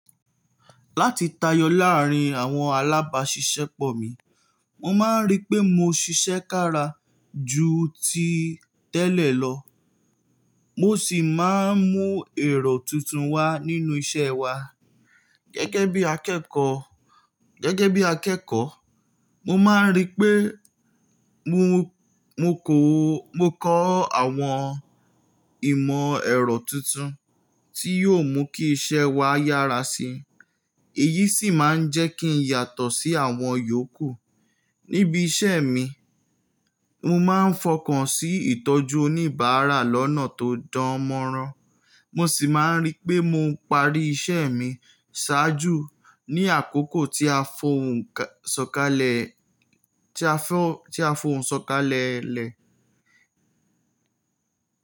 Láti tayọ láàárín àwọn alábáṣiṣẹ́ pọ̀ mi, mo máa ń rí pé mo ṣiṣẹ́ kára ju ti tẹ́lẹ̀ lọ mo sì máa ń mú ẹ̀rọ tuntun wá nínú iṣẹ́ wa. Gẹ́gẹ́ bí akẹ́kọ̀ọ́, mo máa ń rí pé mo ko, mo kọ́ àwọn ìmọ̀ ẹ̀rọ tuntun tí yóò mú kí iṣẹ́ wa yára sí i, èyí sì máa ń jẹ́ kí n yàtọ̀ sí àwọn yòókù. Níbi iṣẹ́ mi, mo máa ń fọkàn sí ìtọ́jú oníbàárà lọ́nà tó dánmọ́nrán, mo sì máa ń rí pé mò ń parí iṣẹ́ mi ṣáájú ní àkókò ti a fohun tí a fòún sọ̀kalẹ̀lẹ̀.